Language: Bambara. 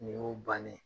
Nin y'o bannen